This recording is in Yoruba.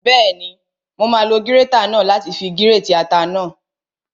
Bẹ́ẹ̀ni, mo máa lo gírétà náà láti fi gírètì ata náà